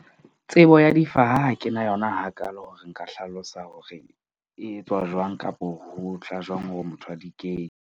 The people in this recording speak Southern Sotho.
Tsebo ya difaha ha ke na yona hakaalo hore nka hlalosa hore e etswa jwang kapo, ho tla jwang hore motho a di kenye.